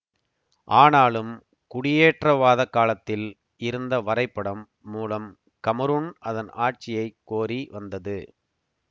ஆனாலும் குடியேற்றவாதக் காலத்தில் இருந்த வரைபடம் மூலம் கமரூன் அதன் ஆட்சியை கோரி வந்தது